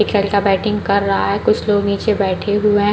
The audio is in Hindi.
एक लड़का बैटिंग कर रहा है कुछ लोग नीचे बैठे हुए --